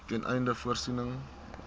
ten einde voorsiening